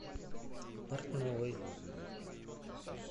портновой